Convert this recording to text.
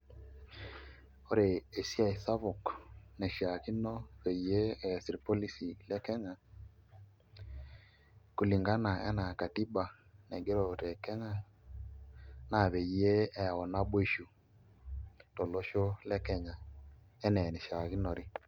Ore esiai sapuk naishiakino peyie ees irpolisi le Kenya kulingana enaa katiba naigero te Kenya naa peyie eyau naboisho tolosho le Kenya enaa enishiakinore.